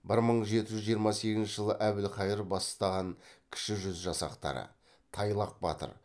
бір мың жеті жүз жиырма сегізінші жылы әбілхайыр бастаған кіші жүз жасақтары тайлақ батыр